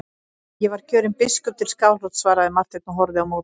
Ég var kjörinn biskup til Skálholts, svaraði Marteinn og horfði á móti.